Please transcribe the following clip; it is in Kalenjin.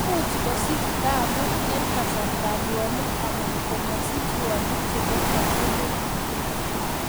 Imuch kosich taabut en kasartab ruonik, alan komosich ruonik nebo katugul